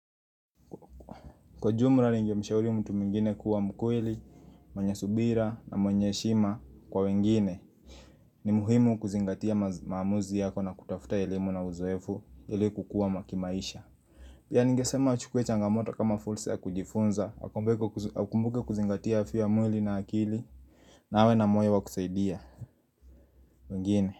Kwa ujumla ningemshauri mtu mwingine kuwa mkweli, mwenye subira na mwenye heshima kwa wengine ni muhimu kuzingatia maamuzi yako na kutafuta elimu na uzoefu ili kukua kimaisha. Pia ningesema wachukue changamoto kama fursa ya kujifunza, wakumbuke, wakumbuke kuzingatia afya ya mwili na akili, na awe na moyo wakusaidia, wengine.